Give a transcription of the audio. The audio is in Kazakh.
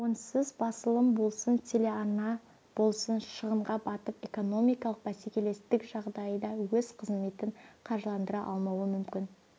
онсыз басылым болсын телерадиоарна болсын шығынға батып экономикалық бәсекелестік жағдайында өз қызметін қаржыландыра алмауы мүмкін